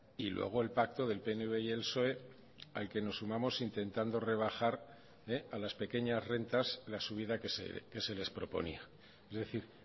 y luego el pacto del pnv y el psoe al que nos sumamos intentando rebajar a las pequeñas rentas la subida que se les proponía es decir